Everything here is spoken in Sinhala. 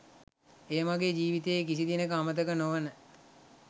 එය මගේ ජීවිතයේ කිසි දිනෙක අමතක නොවන